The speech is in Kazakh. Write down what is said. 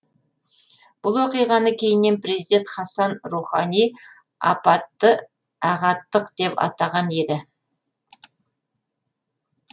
бұл оқиғаны кейіннен президент хасан рухани апатты ағаттық деп атаған еді